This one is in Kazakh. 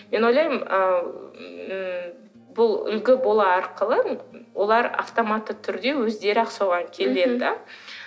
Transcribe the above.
мен ойлаймын ы м бұл үлгі бола арқылы олар автоматты түрде өздері ақ соған келеді де